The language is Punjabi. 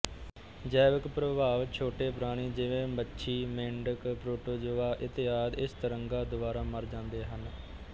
ਜੈਵਿਕ ਪ੍ਰਭਾਵ ਛੋਟੇ ਪ੍ਰਾਣੀ ਜਿਵੇਂ ਮੱਛੀ ਮੇਢਕ ਪ੍ਰੋਟੋਜੋਆ ਇਤਆਦਿ ਇਸ ਤਰੰਗਾਂ ਦੁਆਰਾ ਮਰ ਜਾਂਦੇ ਹੈ